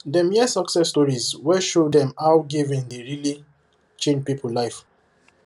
dem hear success stories wey show dem how giving dey really change people life